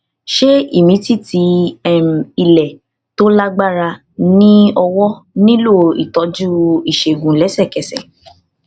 ṣé ìmìtìtì um ilẹ tó lágbára ní ọwọ nílò ìtọjú ìṣègùn lẹsẹkẹsẹ